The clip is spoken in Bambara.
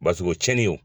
Basigo tiɲɛni don